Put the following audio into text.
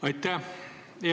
Aitäh!